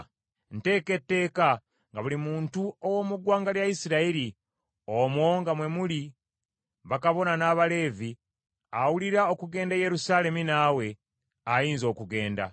Nteeka etteeka nga buli muntu ow’omu ggwanga lya Isirayiri, omwo nga mwe muli bakabona n’Abaleevi, awulira okugenda e Yerusaalemi naawe, ayinza okugenda.